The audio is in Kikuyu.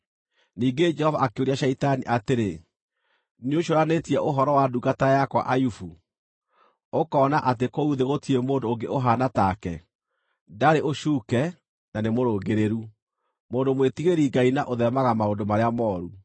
Ningĩ Jehova akĩũria Shaitani atĩrĩ, “Nĩũcũũranĩtie ũhoro wa ndungata yakwa Ayubu? Ũkoona atĩ kũu thĩ gũtirĩ mũndũ ũngĩ ũhaana take; ndarĩ ũcuuke na nĩmũrũngĩrĩru, mũndũ mwĩtigĩri-Ngai na ũtheemaga maũndũ marĩa mooru?”